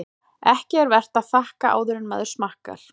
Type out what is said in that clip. Ekki er vert að þakka áður en maður smakkar.